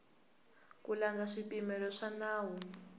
ku landza swipimelo swa nawu